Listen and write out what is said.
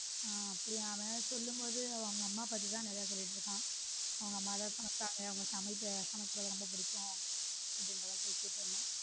ஹம் அப்படியா அதை சொல்லும்போது அவங்க அம்மா பத்தி தான் நிறைய சொல்லிட்டு இருக்கான் அவங்க அம்மாதான் பார்த்தாங்க சமைக்கிறது ரொம்ப பிடிக்கும் .